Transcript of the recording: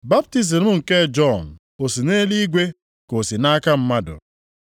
baptizim nke Jọn, o si nʼeluigwe ka o si nʼaka mmadụ?”